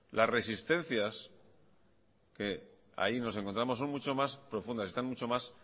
las resistencias que ahí nos encontramos son mucho más profundas están mucho más